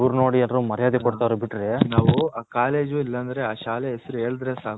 ಇವರ್ ನೋಡಿ ಎಲ್ಲರೂ ಮರ್ಯಾದಿ ಕೊಡ್ತವ್ರೆ ಬಿಟ್ರೆ ನಾವು ಆ ಕಾಲೇಜ್ ಇಲ್ಲ ಅಂದ್ರೆ ಆ ಶಾಲೆ ಹೆಸರ್ ಹೇಳದ್ರೆ ಸಾಕು .